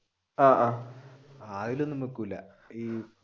ആഹ്